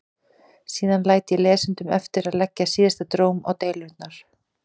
Síðan læt ég lesendum eftir að leggja síðasta dóm á deilurnar.